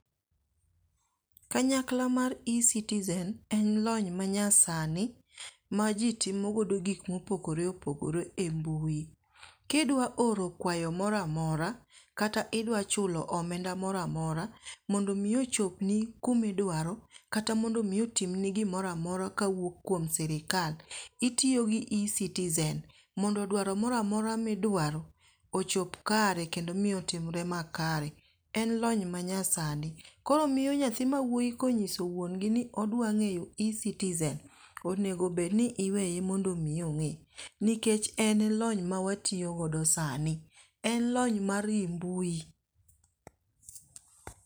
Kanyakla mar e-citizen, en lony manyasani ma ji timogodo gik mopogore opogore e mbui. Kidwa oro kwayo moro amora kata idwa chulo omenda moro amora mondo mi ochopni kumidwaro kata mondo mi otimni gimoro amora kawuok kuom sirkal, itiyo gi e-citizen mondo dwaro moro amora midwaro ochop kare kendo miyo tim ber makare. En lony manyasani. Koro miyo nyathi ma wuoyi konyiso wuongi ni odwang'eyo e-citizen onego bed ni iweye mondo mi ong'e. Nikech en lony mawatiyogodo sani. En lony mar yi mbui.